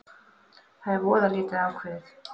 Það er voða lítið ákveðið